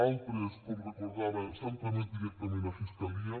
altres com recordava s’han tramès directament a fiscalia